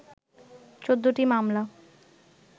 ১৪ টি মামলা